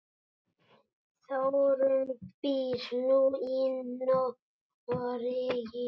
Þórunn býr nú í Noregi.